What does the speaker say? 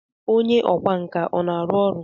Onye ọkwá nkà na-arụ ọrụ?